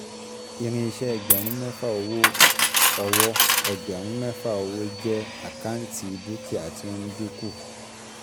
Irinṣẹ́ ẹgbẹ̀rún mẹ́fà owó ọwọ́ ẹgbẹ̀rún mẹ́fà owó jẹ́ àkáǹtì dúkìá tí ó ń dínkù